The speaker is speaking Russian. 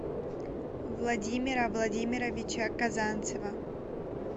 владимира владимировича казанцева